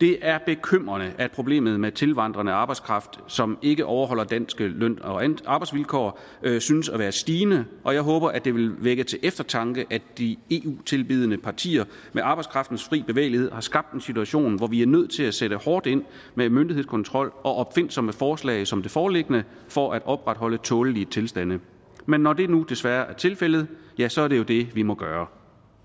det er bekymrende at problemet med tilvandrende arbejdskraft som ikke overholder danske løn og arbejdsvilkår synes at være stigende og jeg håber at det vil vække til eftertanke at de eu tilbedende partier med arbejdskraftens fri bevægelighed har skabt en situation hvor vi er nødt til at sætte hårdt ind med myndighedskontrol og opfindsomme forslag som det foreliggende for at opretholde tålelige tilstande men når det nu desværre er tilfældet så er det jo det vi må gøre